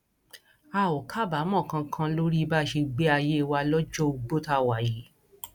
a ò kábàámọ kankan lórí bá a ṣe gbé ayé wa lọjọ ogbó tá a wà yìí